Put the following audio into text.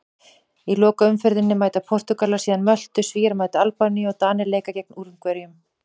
Í lokaumferðinni mæta Portúgalar síðan Möltu, Svíar mæta Albaníu og Danir leika gegn Ungverjum.